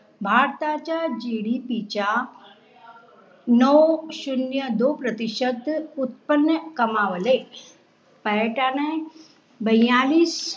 भारताचा GDP च्या नऊ शुन्य दो प्रतिशत उत्पन कमावले. पर्यटन